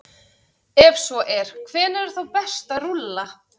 Ef svo er, hvenær er þá best að rúlla?